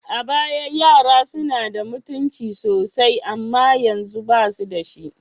A baya, yara suna da mutunci sosai amma yanzu, ba su da shi.